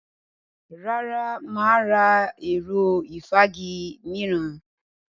Rárá, mà á ra ẹ̀rọ ìfági mìíràn.